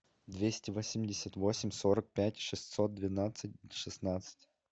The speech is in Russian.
двести восемьдесят восемь сорок пять шестьсот двенадцать шестнадцать